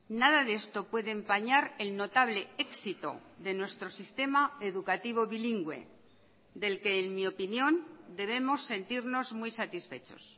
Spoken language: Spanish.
nada de esto puede empañar el notable éxito de nuestro sistema educativo bilingüe del que en mi opinión debemos sentirnos muy satisfechos